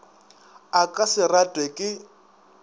a ka se ratwe ke